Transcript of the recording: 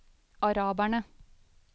araberne